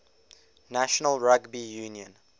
national rugby union